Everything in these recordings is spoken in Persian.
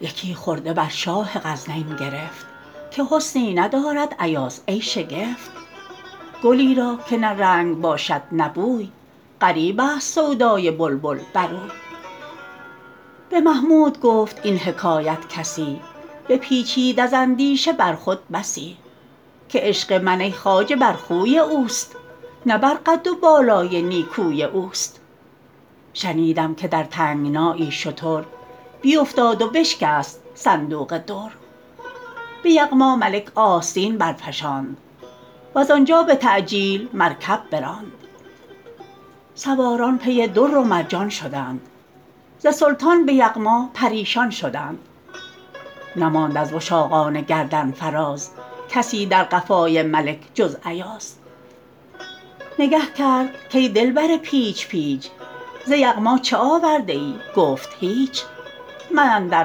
یکی خرده بر شاه غزنین گرفت که حسنی ندارد ایاز ای شگفت گلی را که نه رنگ باشد نه بوی غریب است سودای بلبل بر اوی به محمود گفت این حکایت کسی بپیچید از اندیشه بر خود بسی که عشق من ای خواجه بر خوی اوست نه بر قد و بالای نیکوی اوست شنیدم که در تنگنایی شتر بیفتاد و بشکست صندوق در به یغما ملک آستین برفشاند وز آنجا به تعجیل مرکب براند سواران پی در و مرجان شدند ز سلطان به یغما پریشان شدند نماند از وشاقان گردن فراز کسی در قفای ملک جز ایاز نگه کرد کای دلبر پیچ پیچ ز یغما چه آورده ای گفت هیچ من اندر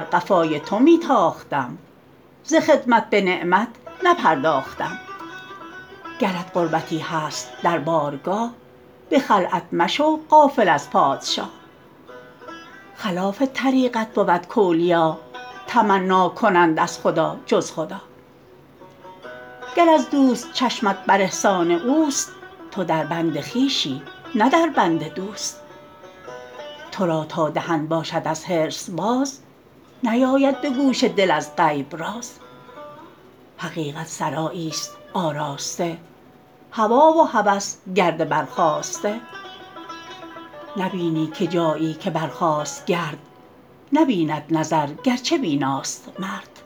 قفای تو می تاختم ز خدمت به نعمت نپرداختم گرت قربتی هست در بارگاه به خلعت مشو غافل از پادشاه خلاف طریقت بود کاولیا تمنا کنند از خدا جز خدا گر از دوست چشمت بر احسان اوست تو در بند خویشی نه در بند دوست تو را تا دهن باشد از حرص باز نیاید به گوش دل از غیب راز حقیقت سرایی است آراسته هوی و هوس گرد برخاسته نبینی که جایی که برخاست گرد نبیند نظر گرچه بیناست مرد